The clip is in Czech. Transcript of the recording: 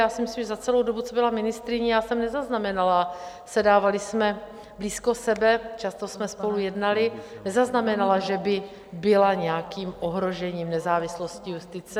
Já si myslím, že za celou dobu, co byla ministryní, já jsem nezaznamenala, sedávaly jsme blízko sebe, často jsme spolu jednaly, nezaznamenala, že by byla nějakým ohrožením nezávislosti justice.